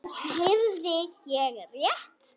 Heyrði ég rétt.